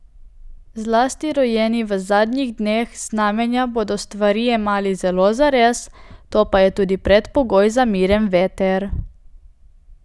Zlasti rojeni v zadnjih dneh znamenja bodo stvari jemali zelo zares, to pa je tudi predpogoj za miren veter.